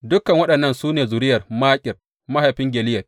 Dukan waɗannan su ne zuriyar Makir mahaifin Gileyad.